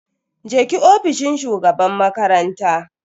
je ki ofishin shugaban makaranta.